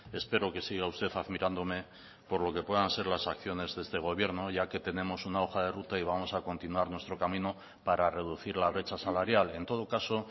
espero que siga usted admirándome por lo que puedan ser las acciones de este gobierno ya que tenemos una hoja de ruta y vamos a continuar nuestro camino para reducir la brecha salarial en todo caso